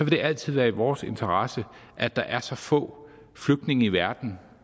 vil altid være i vores interesse at der er så få flygtninge i verden